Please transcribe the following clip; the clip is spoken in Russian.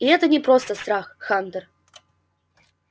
и это не просто страх хантер